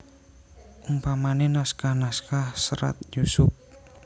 Upamane naskah naskah Serat Yusup